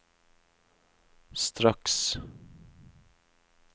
straks